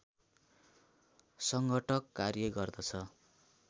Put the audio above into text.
सङ्घटक कार्य गर्दछ